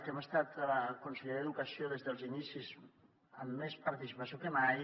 hem estat a la conselleria d’educació des dels inicis amb més participació que mai